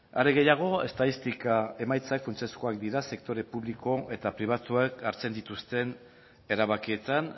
are gehiago estatistika emaitzak funtsezkoak dira sektore publiko eta pribatuak hartzen dituzten erabakietan